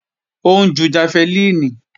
Ó ń ju jafẹlíìnì